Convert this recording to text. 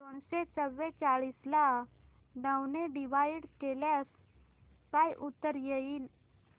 दोनशे चौवेचाळीस ला नऊ ने डिवाईड केल्यास काय उत्तर येईल